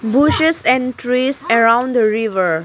Bushes and trees around the river.